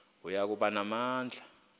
oya kuba namandla